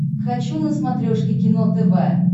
хочу на смотрешке кино тв